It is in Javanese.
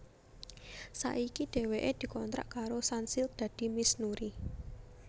Saiki dhéwéké dikontrak karo Sunsilk dadi Miss Nuri